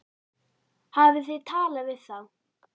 Hafið þið talað við þá?